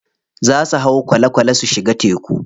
Za su hau kwale kwale su shiga teku.